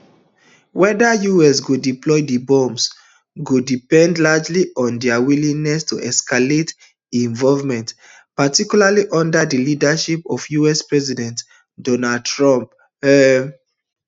weda us go deploy dis bomb go depend largely on dia willingness to escalate involvement particularly under di leadership of us president donald trump um